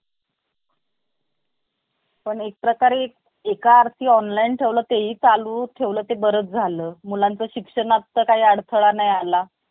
तुम्‍हाला जास्त बोलायचे असते आणि तुम्ही खूप काळजीत असता. तेव्हा तुमचे ओठही खूप लवकर कोरडे पडतात. याचा परिणाम याचा परिणाम आपल्या मानसिकतेवर होतो.